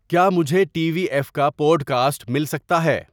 کیا مجھے T V F کا پوڈکاسٹ مل سکتا ہے؟